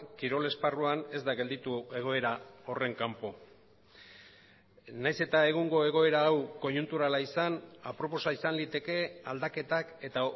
kirol esparruan ez da gelditu egoera horren kanpo nahiz eta egungo egoera hau koiunturala izan aproposa izan liteke aldaketak eta